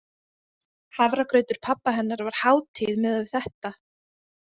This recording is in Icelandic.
Hafragrautur pabba hennar var hátíð miðað við þetta.